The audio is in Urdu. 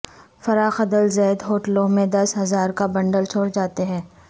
فراخدل زید ہوٹلوں میں دس ہزار کا بنڈل چھوڑ جاتے ہیں